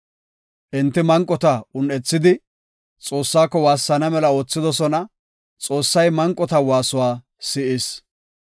Enti manqota un7ethidi Xoossako waassana mela oothidosona; Xoossay manqota waasuwa si7is.